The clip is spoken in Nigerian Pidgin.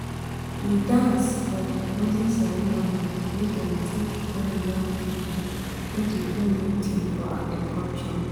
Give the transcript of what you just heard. we dance for di closing ceremony wey dem take hail young pipo wey dey do new ting for agriculture.